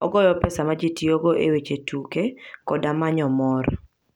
Ogoyo pesa ma ji tiyogo e weche tuke koda manyo mor.